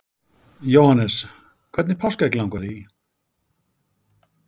Jóhannes: Hvernig páskaegg langar þig í?